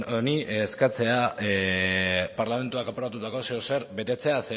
honi eskatzea parlamentuak aprobatutako zeozer betetzea